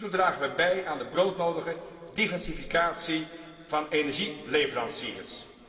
Hiertoe dragen we bij aan de broodnodige diversificatie van energieleveranciers.